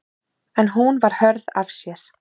En hún var hörð af sér.